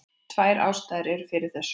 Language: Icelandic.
Tvær ástæður eru fyrir þessu.